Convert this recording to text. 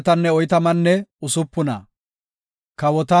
Godaa galatite! Ta shempe Godaa galata!